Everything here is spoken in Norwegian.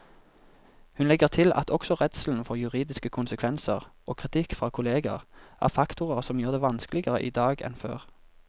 Hun legger til at også redselen for juridiske konsekvenser og kritikk fra kolleger er faktorer som gjør det vanskeligere i dag enn før.